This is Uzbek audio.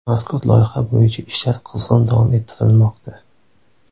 Mazkur loyiha bo‘yicha ishlar qizg‘in davom ettirilmoqda.